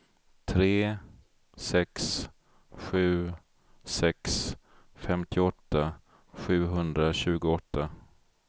tre sex sju sex femtioåtta sjuhundratjugoåtta